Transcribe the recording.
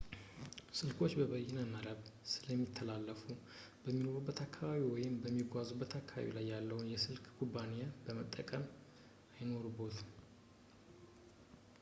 ስልኮች በበይነ መረብ ስለሚተላለፉ በሚኖሩበት አካባቢ ወይም በሚጓዙበት አካባቢ ላይ ያለ የስልክ ኩባንያን መጠቀም አይኖርቦትም